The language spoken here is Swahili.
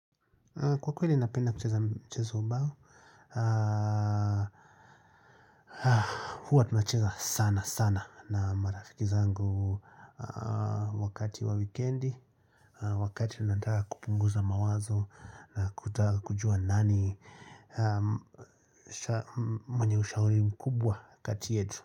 Kwa kweli ninapenda kucheza mchezo bao, huwa tunacheza sana sana na marafiki zangu wakati wa weekendi, wakati unataka kupunguza mawazo na kutaka kujua nani mwenye ushauri mkubwa kati yetu.